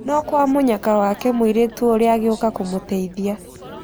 No kwa mũnyaka wake mũirĩtu ũrĩa agĩũka kũmũteithia.